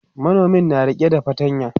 manomin na rike da fatanya